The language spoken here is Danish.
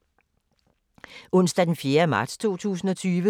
Onsdag d. 4. marts 2020